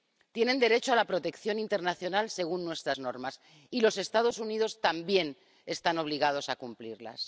Tienen derecho a la protección internacional según nuestras normas, y los Estados Unidos también están obligados a cumplirlas.